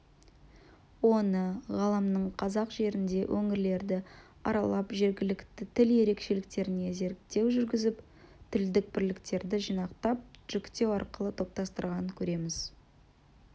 оны ғалымның қазақ жерінде өңірлерді аралап жергілікті тіл ерекшеліктеріне зерттеу жүргізіп тілдік бірліктерді жинақтап жіктеу арқылы топтастырғанан көреміз